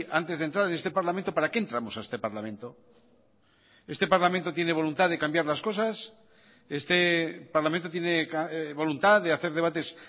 antes de entrar en este parlamento para qué entramos a este parlamento este parlamento tiene voluntad de cambiar las cosas este parlamento tiene voluntad de hacer debates